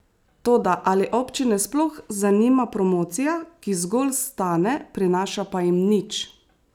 Toda ali občine sploh zanima promocija, ki zgolj stane, prinaša pa jim nič?